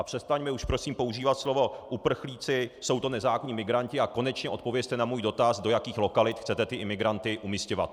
A přestaňme už prosím používat slovo uprchlíci, jsou to nezákonní migranti, a konečně odpovězte na můj dotaz, do jakých lokalit chcete ty imigranty umisťovat.